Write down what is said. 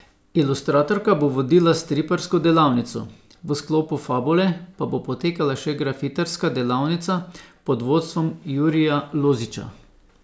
Ilustratorka bo vodila striparsko delavnico, v sklopu Fabule pa bo potekala še grafitarska delavnica pod vodstvom Jurija Lozića.